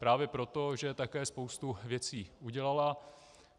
Právě proto, že také spoustu věcí udělala.